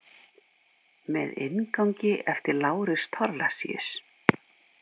Með inngangi eftir Lárus Thorlacius.